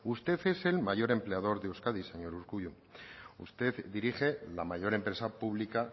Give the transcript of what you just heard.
usted es el mayor empleador de euskadi señor urkullu usted dirige la mayor empresa pública